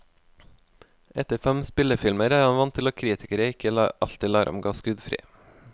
Etter fem spillefilmer er han vant til at kritikere ikke alltid lar ham gå skuddfri.